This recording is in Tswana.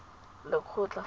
lekgotla